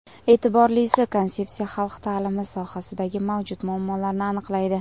E’tiborlisi, konsepsiya xalq ta’limi sohasidagi mavjud muammolarni aniqlaydi.